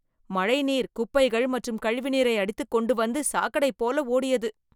மழைநீர் குப்பைகள் மற்றும் கழிவுநீரை அடித்துக் கொண்டு வந்து சாக்கடை போல ஓடியது